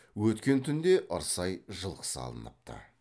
өткен түнде ырсай жылқысы алыныпты